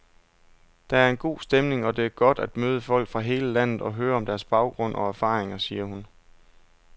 Der er en god stemning, og det er godt at møde folk fra hele landet og høre om deres baggrund og erfaringer, siger hun.